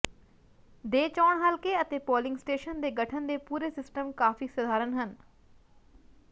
ਦੇ ਚੋਣ ਹਲਕੇ ਅਤੇ ਪੋਲਿੰਗ ਸਟੇਸ਼ਨ ਦੇ ਗਠਨ ਦੇ ਪੂਰੇ ਸਿਸਟਮ ਕਾਫ਼ੀ ਸਧਾਰਨ ਹੈ